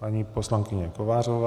Paní poslankyně Kovářová.